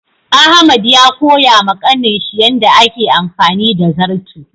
Ahmad ya koya ma Kanin shi yanda a ke amfani da zarto.